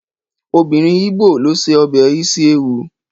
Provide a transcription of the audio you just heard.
Obìnrin ígbò ló ṣe ọbẹ̀ isi ewu